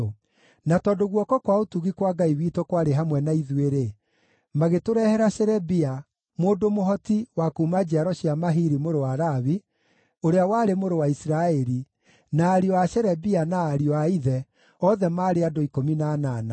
Na tondũ guoko kwa ũtugi kwa Ngai witũ kwarĩ hamwe na ithuĩ-rĩ, magĩtũrehere Sherebia, mũndũ mũhoti wa kuuma njiaro cia Mahili mũrũ wa Lawi, ũrĩa warĩ mũrũ wa Isiraeli, na ariũ a Sherebia na ariũ a ithe, othe maarĩ andũ 18;